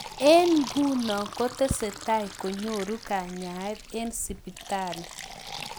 Eng ingunoo kotesetai konyoruu kanyaet eng sipitalii